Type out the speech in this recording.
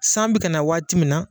San bɛ ka na waati min na,